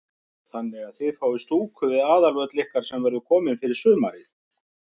Þannig að þið fáið stúku við aðalvöll ykkar sem verður komin fyrir sumarið?